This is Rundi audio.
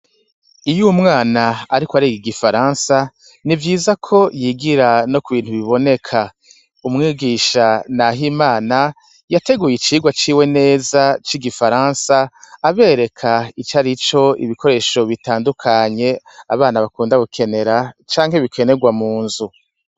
Iyo umwana ariko ariga igifaransa, nivyiza ko yigira no kubintu biboneka . Umwigisha Nahimana , yateguye icirwa ciwe neza c' igifaransa , abereka icarico ibikoresho bitandukanye, abana bakunda gukenera canke bikenerwa mu nzu.